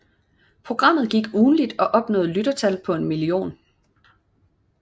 Programmet gik ugentligt og opnåede lyttertal på en million